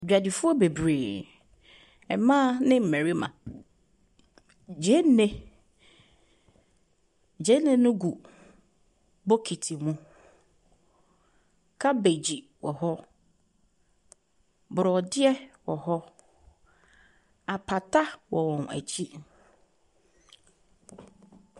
Adwadifoɔ bebree. Mmaa ne mmarima. Gyeene gyeene no gu bokiti mu. Cabbage wɔ hɔ. Borɔdeɛ wɔ hɔ. Apata wɔ wɔn akyi.